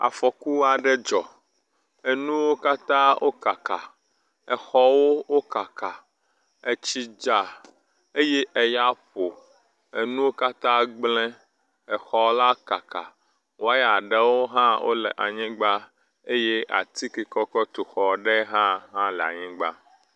Afɔku aɖe dzɔ enuwo katã wo kaka. Exɔwo wo kaka, etsi dza eye eya ƒo enuwo katã gble exɔ la kaka. Wɔya aɖewo hã wo le anyigba eye ati ke ke wokɔ tu exɔ aɖ hã le anyigba.